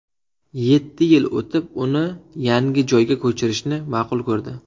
Yetti yil o‘tib uni yangi joyga ko‘chirishni ma’qul ko‘rdi.